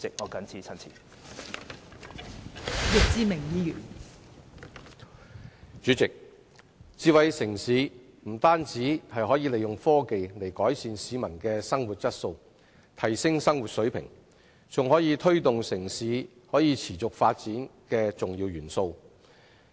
代理主席，發展智慧城市不但可利用科技改善市民的生活質素，提升生活水平，更是推動城市可持續發展的重要一環。